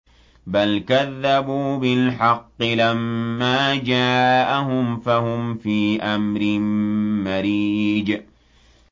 بَلْ كَذَّبُوا بِالْحَقِّ لَمَّا جَاءَهُمْ فَهُمْ فِي أَمْرٍ مَّرِيجٍ